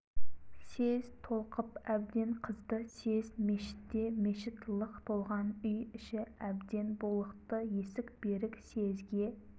съезд толқып әбден қызды съезд мешітте мешіт лық толған үй іші әбден булықты есік берік съезге